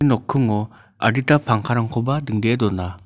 nokkingo adita pangkarangkoba dingdee dona.